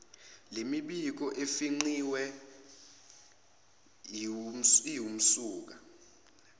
lemibiko efingqiwe iwumsuka